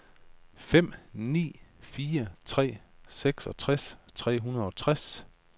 fem ni fire tre seksogtres tre hundrede og tres